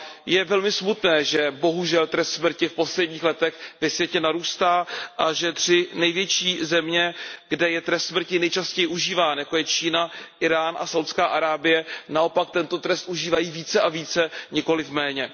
Je velmi smutné, že bohužel trest smrti v posledních letech ve světě narůstá a že tři největší země, kde je trest smrti nejčastěji užíván, jako je Čína, Írán a Saúdská Arábie, naopak tento trest užívají více a více, nikoliv méně.